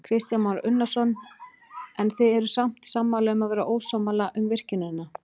Kristján Már Unnarsson: En þið eruð sammála um að vera ósammála um virkjunina?